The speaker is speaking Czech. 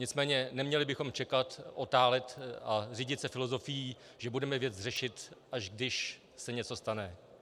Nicméně neměli bychom čekal, otálet a řídit se filozofií, že budeme věc řešit, až když se něco stane.